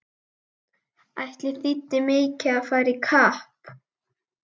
Ætli þýddi mikið að fara í kapp!